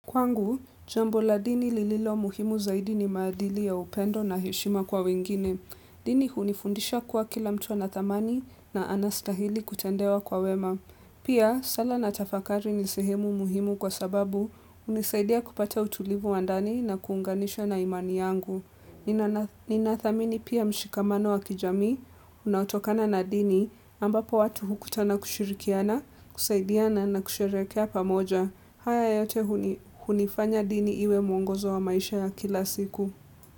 Kwangu, jambo la dini lililo muhimu zaidi ni maadili ya upendo na heshima kwa wengine. Dini hunifundisha kuwa kila mtu anathamani na anastahili kutendewa kwa wema. Pia, sala na tafakari ni sehemu muhimu kwa sababu unisaidia kupata utulivu wa ndani na kuunganisha na imani yangu. Ninathamini pia mshikamano wa kijamii, unautokana na dini, ambapo watu hukutana kushirikiana, kusaidiana na kusherekea pamoja. Haya yote hunifanya dini iwe mwongozo wa maisha ya kila siku.